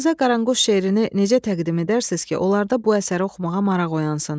Dostlarınıza Qaranquş şeirini necə təqdim edərsiniz ki, onlarda bu əsəri oxumağa maraq oyansın?